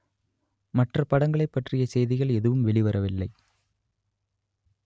மற்ற படங்களைப் பற்றிய செய்திகள் எதுவும் வெளிவரவில்லை